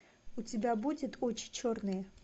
у тебя будет очи черные